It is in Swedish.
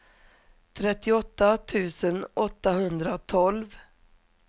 trettioåtta tusen åttahundratolv